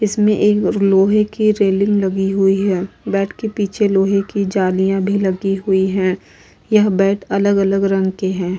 इसमें एक लोहे की रेलिंग लगी हुई है। बेड के पीछे लोहे की जालियां लगी हुई हैं। यह बेड अलग-अलग रंग के हैं।